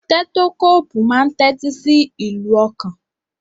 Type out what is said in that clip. Tẹ́tókóòpù máa ń tẹ́tí sí ìlù ọkàn.